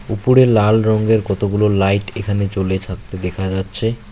উপরে লাল রঙ্গের কতগুলো লাইট এখানে জ্বলে থাকতে দেখা যাচ্ছে।